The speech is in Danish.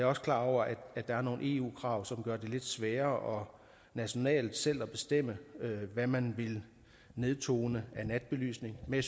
også klar over at der er nogle eu krav som gør det lidt sværere nationalt selv at bestemme hvad man vil nedtone af natbelysning men